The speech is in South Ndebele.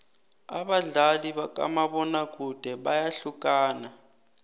abadlali bakamabona kude bayahlukana